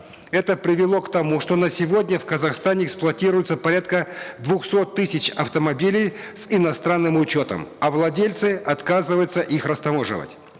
это привело к тому что на сегодня в казахстане эксплуатируется порядка двухсот тысяч автомобилей с иностранным учетом а владельцы отказываются их растаможивать